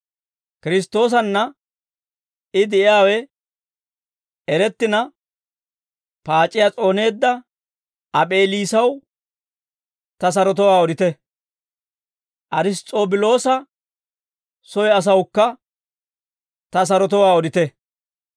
Kiristtoosanna I de'iyaawe erettina paac'iyaa s'ooneedda Ap'eliisaw ta sarotowaa odite; Ariss's'obiloosa soy asawukka ta sarotowaa odite.